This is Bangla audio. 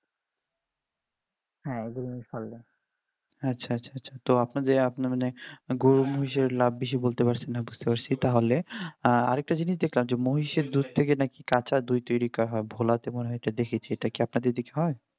তো আপনাদের আপনাদের মানে গরু মহিষ লাভ বেশি বুঝতে পারছি বুঝতে পারছি তাহলে একটা জিনিস দেখতে দেখলাম মহিষের দুধ থেকে নাকি কাঁচা দই তৈরি হয়, ঘোলাতে এই রকম দেখেছি আপনাদের দিকে হয়?